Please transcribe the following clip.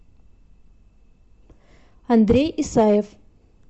андрей исаев